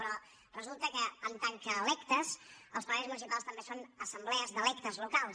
però resulta que en tant que electes els plenaris municipals també són assemblees d’electes locals